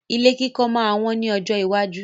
Ilé máa wón ní ọjọ́ iwájú